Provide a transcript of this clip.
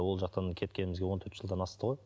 ол жақтан кеткенімізге он төрт жылдан асты ғой